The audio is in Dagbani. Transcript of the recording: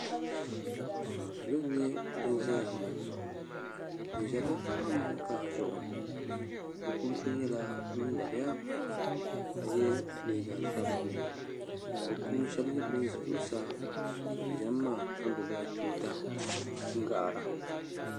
salo n nyɛ bin ʒɛya bi ʒɛla amokaa zuɣu bi puuni so nyɛla ŋun dabiya ka yɛ liiga sabinli ka bi puubi shab nyɛ bin ʒɛ zuɣusaa bi ʒɛmi maa ka gbubila tuuta n gaara